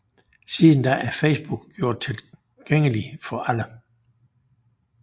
Siden da er Facebook gjort tilgængelig for alle